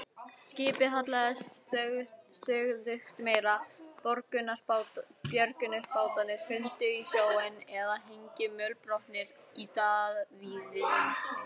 Skipið hallaðist stöðugt meira, björgunarbátarnir hrundu í sjóinn eða héngu mölbrotnir í davíðunum.